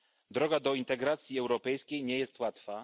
Droga do integracji europejskiej nie jest łatwa.